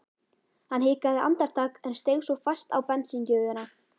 Hann hikaði andartak en steig svo fast á bensíngjöfina.